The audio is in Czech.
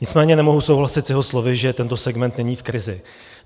Nicméně nemohu souhlasit s jeho slovy, že tento segment není v krizi.